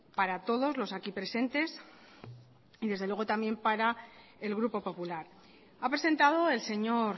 para todos los aquí presentes y desde luego también para el grupo popular ha presentado el señor